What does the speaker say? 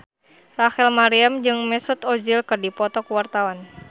Rachel Maryam jeung Mesut Ozil keur dipoto ku wartawan